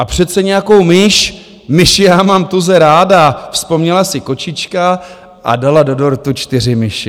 A přece nějakou myš, myši já mám tuze ráda, vzpomněla si kočička a dala do dortu čtyři myši.